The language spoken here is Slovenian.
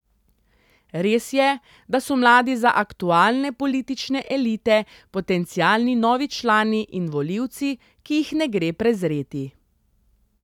Res je, da so mladi za aktualne politične elite potencialni novi člani in volivci, ki jih ne gre prezreti.